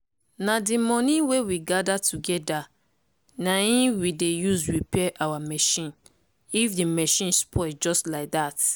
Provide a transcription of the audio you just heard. na di money wey we gather togeda na in we dey use repair our machine if di machine spoil just like dat.